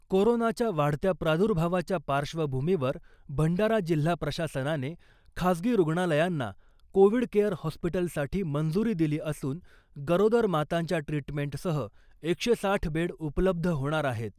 कोरोनाच्या वाढत्या प्रादूर्भावाच्या पार्श्वभुमीवर भंडारा जिल्हा प्रशासनाने खाजगी रुग्णालयांना कोविड केअर हॉस्पिटलसाठी मंजूरी दिली असून गरोदर मातांच्या ट्रिटमेंटसह एकशे साठ बेड उपलब्ध होणार आहेत .